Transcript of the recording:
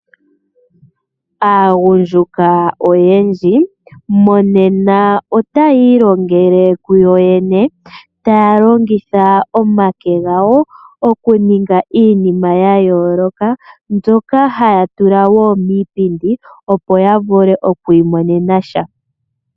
Aagundjuka oyendji, monena otayii longele kuyo yene, taya longitha omake gawo, okuninga iinima ya yooloka, mbyoka haya tula wo miipindi, opo yavule okwii monena sha.